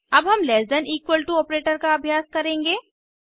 अब हम less than equal to operator का अभ्यास करेंगे